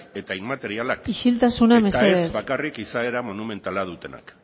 eta inmaterialak isiltasuna mesedez eta ez bakarrik izaera monumentala dutenak